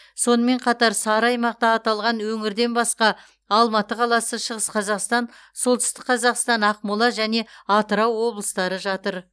сонымен қатар сары аймақта аталған өңірден басқа алматы қаласы шығыс қазақстан солтүстік қазақстан ақмола және атырау облыстары жатыр